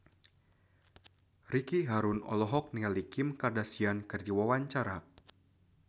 Ricky Harun olohok ningali Kim Kardashian keur diwawancara